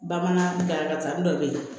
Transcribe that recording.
Bamanan dankari dɔ be yen